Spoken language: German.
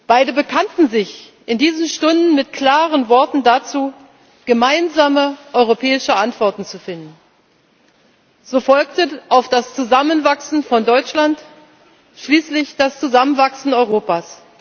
Beide bekannten sich in diesen Stunden mit klaren Worten dazu, gemeinsame europäische Antworten zu finden. So folgte auf das Zusammenwachsen von Deutschland schließlich das Zusammenwachsen Europas.